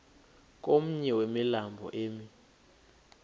komnye wemilambo emi